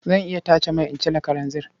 Zan iya tace mai in ciro kalanzir.